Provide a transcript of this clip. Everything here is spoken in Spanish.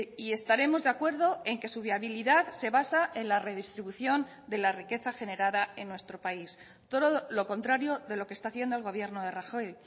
y estaremos de acuerdo en que su viabilidad se basa en la redistribución de la riqueza generada en nuestro país todo lo contrario de lo que está haciendo el gobierno de rajoy